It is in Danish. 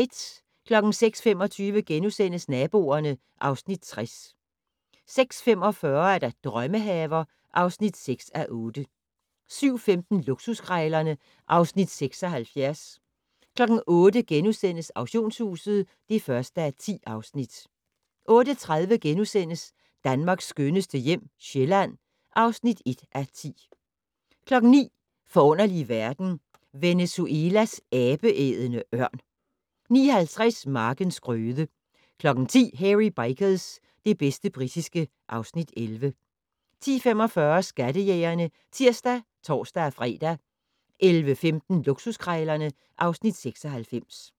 06:25: Naboerne (Afs. 60)* 06:45: Drømmehaver (6:8) 07:15: Luksuskrejlerne (Afs. 76) 08:00: Auktionshuset (1:10)* 08:30: Danmarks skønneste hjem - Sjælland (1:10)* 09:00: Forunderlige verden - Venezuelas abeædende ørn 09:50: Markens grøde 10:00: Hairy Bikers - det bedste britiske (Afs. 11) 10:45: Skattejægerne (tir og tor-fre) 11:15: Luksuskrejlerne (Afs. 96)